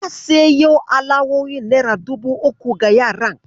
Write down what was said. Na sayo alawowin nera dubu uku ga yaran.